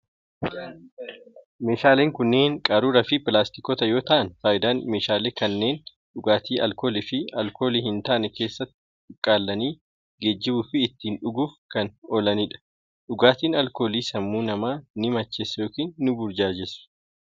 Meeshaaleen kunneen qaruura fi pilaastikoota yoo ta'an, faayidaan meeshaalee kanneen dhugaatii alkoolii fi alkoolii hin taane keessatti cuqqaalanii geejibuu fi ittiin dhuguuf kan oolanii dha. Dhugaatiin alkoolii sammuu namaa ni macheessu yokin ni burjaajessu.